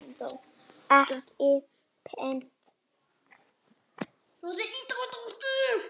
Ekki beint.